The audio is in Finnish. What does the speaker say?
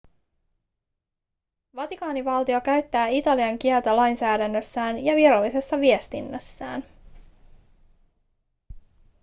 vatikaanivaltio käyttää italian kieltä lainsäädännössään ja virallisessa viestinnässään